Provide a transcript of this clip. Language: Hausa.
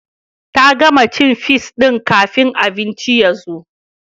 Ta gama cin fis din kafin abincin ya zo